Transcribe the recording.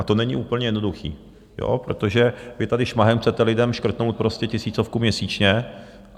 A to není úplně jednoduché, protože vy tady šmahem chcete lidem škrtnout prostě tisícovku měsíčně.